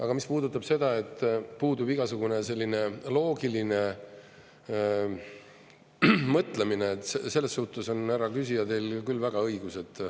Aga mis puudutab seda, et puudub igasugune selline loogiline mõtlemine, sellessuhtes on, härra küsija, teil küll väga õigus.